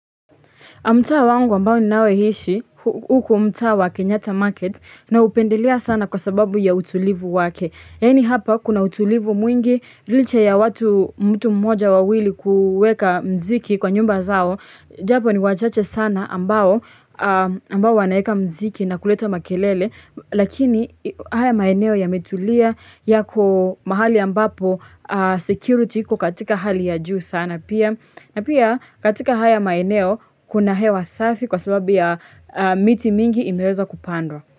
Mtaa wangu ambao ninaoishi, huku mtaa wa kenyatta market naupendelea sana kwa sababu ya utulivu wake. Yani hapa kuna utulivu mwingi, licha ya watu mtu mmoja wawili kuweka mziki kwa nyumba zao. Japo ni wachache sana ambao, ambao wanaeka mziki na kuleta makelele, lakini haya maeneo yametulia yako mahali ambapo security kukatika hali ya juu sana pia. Na pia katika haya maeneo, kuna hewa safi kwa sababu ya miti mingi imewezwa kupandwa.